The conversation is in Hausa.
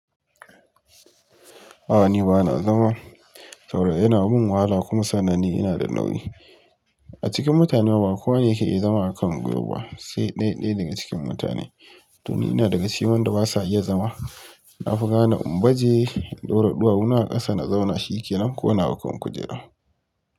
A'a ni ba na zama, saboda yana min wahala kuma sannan ni ina da nauyi. A cikin mutane ma ba kowane yake iya zama a kan gwiwa ba sai ɗaya ɗaya daga cikin mutane. To ni ina daga cikin wanda ba sa iya zama. Na fi gane in baje i. Ɗora ɗuwawuna a ƙasa na zauna shike nan ko na hau kan kujera.